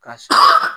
Ka sɔrɔ